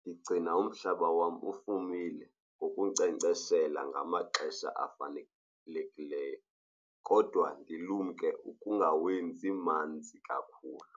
ndigcina umhlaba wam ufumile ngokunkcenkceshela ngamaxesha afanelekileyo kodwa ndilumke ungawenzi manzi kakhulu.